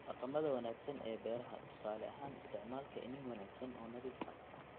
dhaqamada wanaagsan ee beeraha, tusaale ahaan isticmaalka iniin wanaagsan oo nadiif ah (la'aan